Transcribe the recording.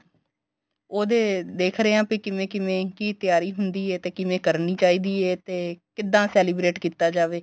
ਉਹਦੇ ਦੇਖ ਰਹੇ ਆ ਬੀ ਕਿਵੇਂ ਕਿਵੇਂ ਕੀ ਤਿਆਰੀ ਹੁੰਦੀ ਏ ਤੇ ਕਿਵੇਂ ਕਰਨੀ ਚਾਹੀਦੀ ਏ ਤੇ ਕਿੱਦਾਂ celebrate ਕੀਤਾ ਜਾਵੇ